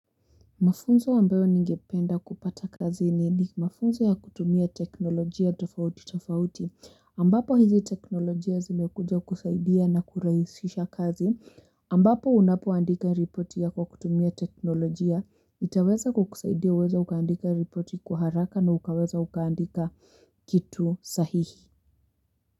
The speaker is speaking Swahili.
Mafunzo ambayo ningependa kupata kazini mafunzo ya kutumia teknolojia tofauti tofauti ambapo hizi teknolojia zimekuja kusaidia na kurahisisha kazi ambapo unapoandika ripoti ya kutumia teknolojia itaweza kukusaidia uweze ukaandika ripoti kwa haraka na ukaweza ukaandika kitu sahihi.